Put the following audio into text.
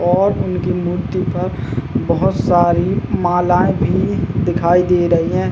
और उनकी मूर्ति पर बोहोत सारी मालाएं भी दिखाई दे रही हैं।